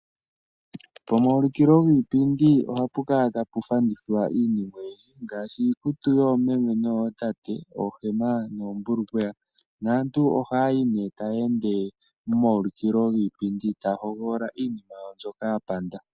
Komaulikilo giipindi ohapu kala tapu fandithwa iinima oyindji ngaashi iikutu yoomeme noyootate oohema noombulukweya naantu ohaya yi nee taya ende momaulikilo giipindi taya hogolola iinima mbyoka ya panda.